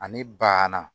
Ani banna